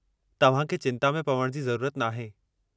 तव्हां खे चिंता में पवण जी ज़रूरत नाहे।